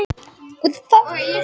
Númeruð sæti í Kringlubíó